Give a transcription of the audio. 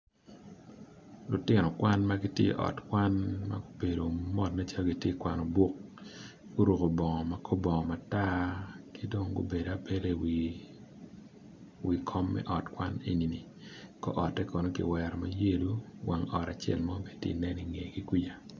Lutino kwan magitye iot kwan magubedo mot nen calo gitye ka kwano buk guruko bongo makor bongo matar kidong gubedo abeda iwi kom me ot kwan enini kor ote kono kiwero mayellow wang ot acel mo matye nen ingegi kuca.